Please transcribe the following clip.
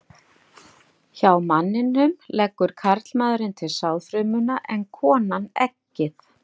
Hjá manninum leggur karlmaðurinn til sáðfrumuna en konan eggið.